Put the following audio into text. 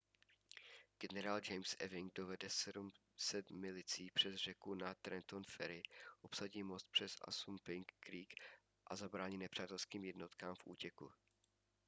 generál james ewing dovede 700 milicí přes řeku na trenton ferry obsadí most přes assunpink creek a zabrání nepřátelským jednotkám v útěku